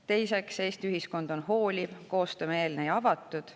Teiseks, Eesti ühiskond on hooliv, koostöömeelne ja avatud.